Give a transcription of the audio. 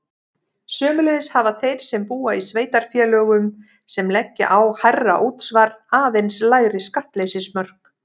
Sömuleiðis hafa þeir sem búa í sveitarfélögum sem leggja á hærra útsvar aðeins lægri skattleysismörk.